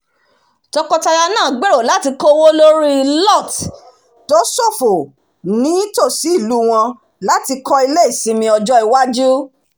tọkọtaya náà gbèrò lórí kíkó owó lórí lot tó ṣófo ní tòsí ìlú wọn láti kọ ilé ìsinmi ọjọ́ iwájú